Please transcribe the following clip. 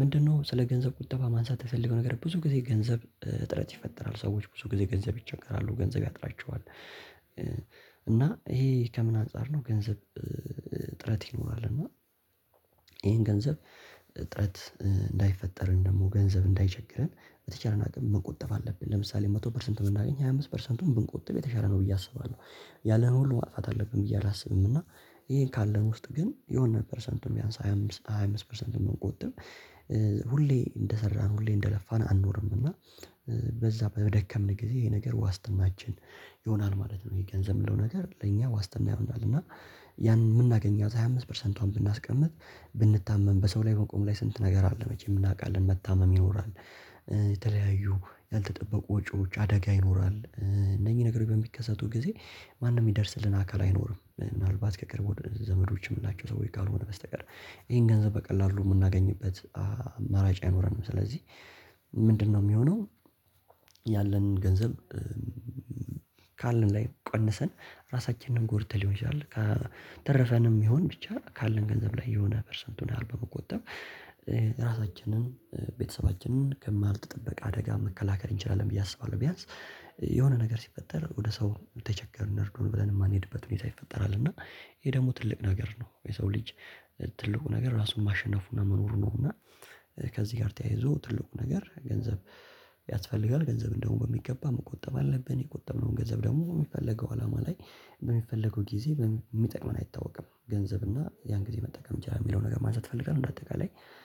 ምንድነው ስለ ገንዘብ ቁጠባ ማንሳት የምፈልገው ነገር ብዙ ጊዜ ገንዘብ ጥረት ይፈጠራል ሰዎች ብዙ ጊዜ ገንዘብ ይቸገራሉ ገንዘብ ያጥራቸዋል። እና ይሄ ከምን አንፃር ነው? ገንዘብ ጥረት ይኖራል። እና ይሄን ገንዘብ እጥረት እንዳይፈጠር ወይም ደግሞ ገንዘብ እንዳይቸግረን በተቻለን አቅም መቆጠብ አለብን። ለምሳሌ መቶ ፐርሰንት ብናገኝ ሃያ አምስት ፐርሰንቱን ብንቆጥብ የተሻለ ነው ብዬ አስባለሁ። ያለንን ሁሉ ማጥፋት አለብን ብዬ አላስብም። እና ይሄን ካለን ውስጥ ግን የሆነ ፐርሰንትም ቢያንስ ሃያ አምስት ሃያ አምስት ፐርሰንት ብንቆጥብ ሁሌ እንደሰራን ሁሌ እንደለፋን አንኖርም። እና በዛ በደከምን ጊዜ ይሄ ነገር ዋስትናችን ይሆናል ማለት ነው። ይሄ ገንዘብ የምንለው ነገር ለእኛ ዋስትና ይሆናል። እና ያን የምናገኛት ሃያ አምስት ፐርሰንቷን ብናስቀምጥ ብንታመም በሰው ላይ መቆም ላይ ስንት ነገር አለ መቼም እናውቃለን መታመም ይኖራል። የተለያዩ ያልተጠበቁ ወጪዎች አደጋ ይኖራል እነዚህ ነገሮች በሚከሰቱ ጊዜ ማንም የሚደርስልን አካል አይኖርም። ምናልባት ከቅርብ ዘመዶች የምንላቸው ሰዎች ካልሆነ በስተቀር። ይሄን ገንዘብ በቀላሉ የምናገኝበት አማራጭ አይኖረንም። ስለዚህ ምንድነው የሚሆነው? ያለንን ገንዘብ ካለን ላይ ቀነሰን ራሳችንን ጎድተን ሊሆን ይችላል። ከተረፈንም ይሁን ብቻ ካለን ገንዘብ ላይ የሆነ ፐርሰንቱን ያህል በመቆጠብ ራሳችንን ቤተሰባችንን ካልተጠበቀ አደጋ መከላከል እንችላለን ብዬ አስባለሁ። ቢያንስ የሆነ ነገር ሲፈጠር ወደ ሰው ተቸገርን እርዱን ብለን የማንሄድበት ሁኔታ ይፈጠራል። እና ይሄ ደግሞ ትልቅ ነገር ነው። የሰው ልጅ ትልቁ ነገር ራሱን ማሸነፉና መኖሩ ነውና። ከዚህ ጋር ተያይዞ ትልቁ ነገር ገንዘብ ያስፈልጋል ገንዘብ እንደውም በሚገባ መቆጠብ አለብን። የቆጠብነውን ገንዘብ ደግሞ የሚፈልገው አላማ ላይ በሚፈለገው ጊዜ የሚጠቅመን አይታወቅም። ገንዘብ እና ያን ጊዜ መጠቀም እንችላለን። የሚለውን ነገር ማንሳት እፍልጋለሁ እንደ አጠቃላይ